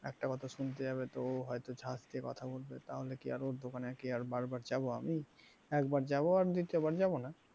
একটা কথা শুনতে যাবে হয় তো ঝাঁকিয়ে কথা বলবে তাহলে কি আর ওর দোকানে আর কি বারবার যাব আমি, একবার যাব আর দ্বিতীয়বার যাব না।